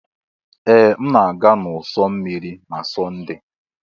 Ee! M na-aga n'ụ̀sọ̀ osimiri na Sọnde.